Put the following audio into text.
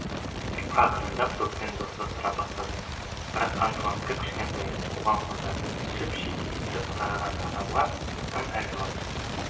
ақырындап доппен достастыра бастады бірақ антуан кіп-кішкентай оған қоса шіп-шидей сырт қараған адамға тым әлжуаз